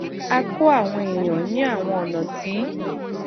ó kó àwọn èèyàn ní àwọn ònà tí